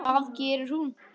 Það gerir hún.